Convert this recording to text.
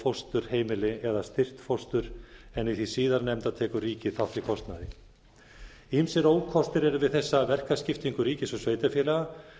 fósturheimili eða styrkt fóstur en í því síðarnefnda tekur ríkið þátt í kostnaði ýmsir ókostir eru við þessa verkaskiptingu ríkis og sveitarfélaga